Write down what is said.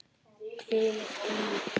Hvílíkt líf!